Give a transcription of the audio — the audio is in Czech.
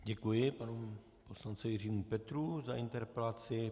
Děkuji panu poslanci Jiřímu Petrů za interpelaci.